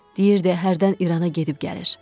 Deyirdi hərdən İrana gedib gəlir.